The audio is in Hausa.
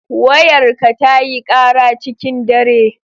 Wayarka tayi kara cikin dare.